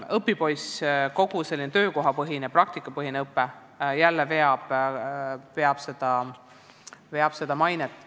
Õpipoisiõpe, kogu töökohapõhine ja praktikapõhine õpe samuti parandab mainet.